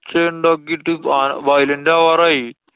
ഒച്ചയുണ്ടാക്കിട്ട് ആന violent ആവാറായി.